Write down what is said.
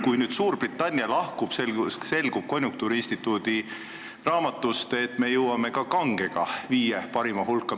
Konjunktuuriinstituudi raamatust selgub, et kui nüüd Suurbritannia lahkub, siis me jõuame ka kange alkoholiga viie parima hulka.